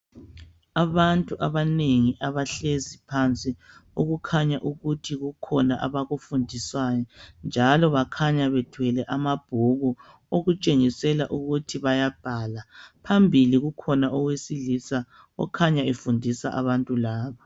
Abantu abanengi abahlezi phansi okukhanya ukuthi kukhona abakufundiswayo njalo bakhanya bethwele amabhuku okutshengisela ukuthi bayabhala. Phambili kukhona owesilisa okhanya efundisa abantu laba.